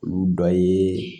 Olu dɔ ye